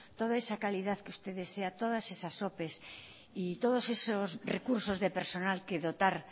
toda esa calidad que usted desea todas esas opes y todos esos recursos de personal que dotar